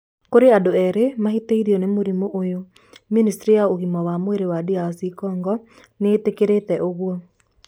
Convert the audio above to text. Kũrĩ na andũ erĩ mahĩtĩirio nĩ mũrimũ ũyũ, ministry ya ũgima wa mwĩrĩ ya DR Congo nĩ ĩtĩkĩrĩtie ũguo.